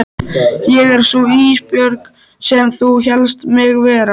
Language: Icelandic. Ég er sú Ísbjörg sem þú hélst mig vera.